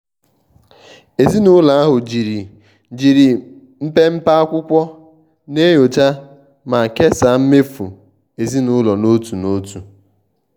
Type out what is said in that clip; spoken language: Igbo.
ezinụlọ ahụ jiri jiri mpepe akwụkwọ na-enyocha ma kesaa mmefu ezinụlọ n'otu n'otu.